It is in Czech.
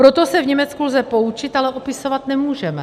Proto se v Německu lze poučit, ale opisovat nemůžeme.